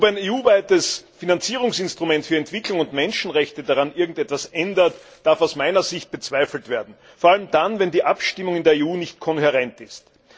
Ob ein EU weites Finanzinstrument für Entwicklung und Menschenrechte daran irgendetwas ändert, darf aus meiner Sicht bezweifelt werden, vor allem dann, wenn die Abstimmung in der EU nicht kohärent ist.